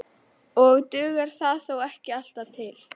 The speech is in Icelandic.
Og dugar það þó ekki alltaf til.